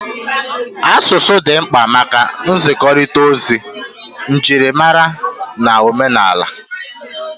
Asụsụ dị mkpa maka nzikọrịta ozi, njirimara na omenala